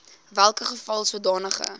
welke geval sodanige